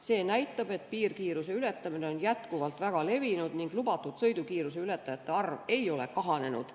See näitab, et piirkiiruse ületamine on endiselt väga levinud ning lubatud sõidukiiruse ületajate arv ei ole kahanenud.